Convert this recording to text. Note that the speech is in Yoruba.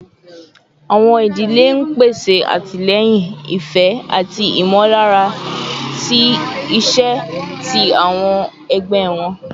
Awọn idile n pese atilẹyin, ifẹ, ati imọlara ti iṣe ti awọn ọmọ ẹgbẹ wọn